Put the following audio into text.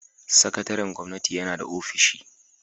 Sakataren gwamnati yana da ofishi.